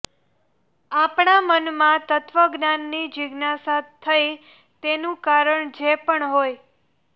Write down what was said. આપણા મનમાં તત્વજ્ઞાનની જિજ્ઞાસા થઈ તેનું કારણ જે પણ હોય